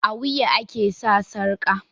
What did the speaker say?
A wuya ake sa sarƙa